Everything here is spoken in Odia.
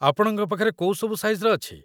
ଆପଣଙ୍କ ପାଖରେ କୋଉ ସବୁ ସାଇଜ୍‌ର ଅଛି?